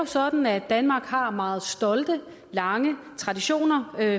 sådan at danmark har meget stolte og lange traditioner